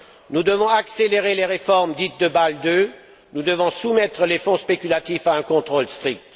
Nous devons accélérer les réformes dites de Bâle II, nous devons soumettre les fonds spéculatifs à un contrôle strict.